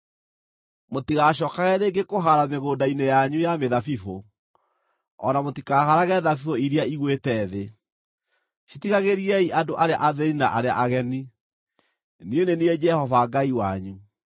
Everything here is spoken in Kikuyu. Mũtigacookage rĩngĩ kũhaara mĩgũnda-inĩ yanyu ya mĩthabibũ, o na mũtikahaarage thabibũ iria igũĩte thĩ. Citigagĩriei andũ arĩa athĩĩni na arĩa ageni. Niĩ nĩ niĩ Jehova Ngai wanyu.